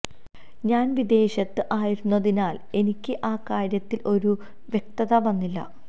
ഞാൻ വിദേശത്ത് ആയിരുന്നതിനാൽ എനിക്ക് ആ കാര്യത്തിൽ ഒരു വ്യക്തത വന്നില്ല